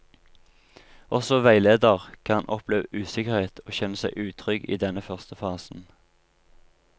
Også veileder kan oppleve usikkerhet og kjenne seg utrygg i denne første fasen.